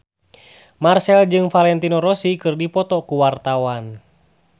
Marchell jeung Valentino Rossi keur dipoto ku wartawan